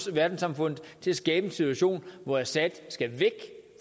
verdenssamfundet til at skabe en situation hvor assad skal væk